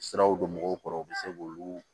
Siraw don mɔgɔw kɔrɔ u bɛ se k'olu